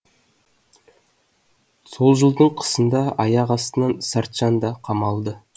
сол жылдың қысында аяқ астынан сартжан да қамалды